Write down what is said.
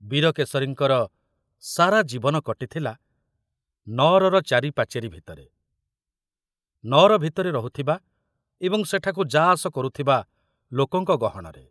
ବୀରକେଶରୀଙ୍କର ସାରା ଜୀବନ କଟିଥିଲା ନଅରର ଚାରି ପାଚେରୀ ଭିତରେ, ନଅର ଭିତରେ ରହୁଥିବା ଏବଂ ସେଠାକୁ ଯାଆସ କରୁଥିବା ଲୋକଙ୍କ ଗହଣରେ।